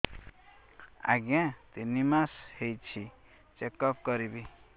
ଆଜ୍ଞା ତିନି ମାସ ହେଇଛି ଚେକ ଅପ କରିବି